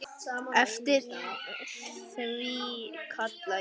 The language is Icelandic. Eftir því kalla ég.